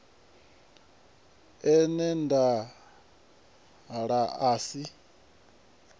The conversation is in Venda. e na nḓala a si